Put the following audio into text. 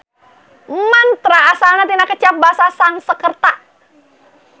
Mantra asalna tina kecap basa Sanskerta.